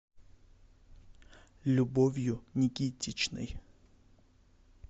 любовью никитичной